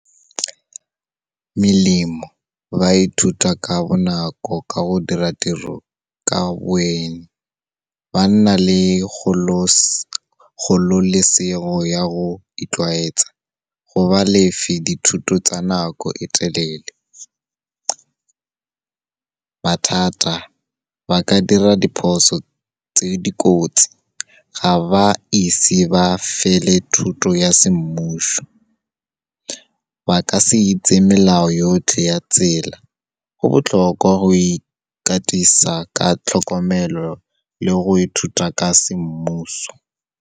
Melemo, ba ithuta ka bonako ka go dira tiro ka boeng. Ba nna le kgololesego ya go itlwaetsa, go ba lefe dithuto tsa nako e telele. Mathata, ba ka dira diphoso tse dikotsi, ga ba ise ba fele thuto ya semmuso, ba ka se itse melao yotlhe ya tsela. Go botlhokwa go ikatisa ka tlhokomelo le go ithuta ka semmuso.